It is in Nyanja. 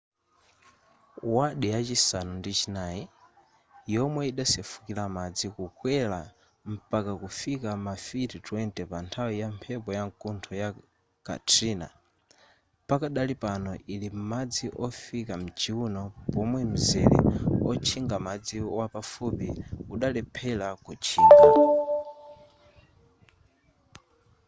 ward yachisanu ndi chinayi yomwe idasefukira madzi kukwera mpaka kufika ma fiti 20 panthawi ya mphepo yamkuntho ya katrina pakadali pano ili m'madzi ofikira m'chiuno pomwe mzere otchingira madzi wapafupi udalephera kutchinga